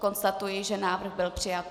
Konstatuji, že návrh byl přijat.